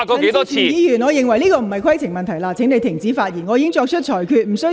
陳志全議員，這不是規程問題，請你停止發言。